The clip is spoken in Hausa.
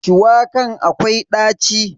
Shuwakan akwai ɗaci.